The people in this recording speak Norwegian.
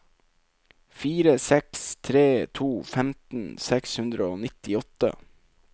fire seks tre to femten seks hundre og nittiåtte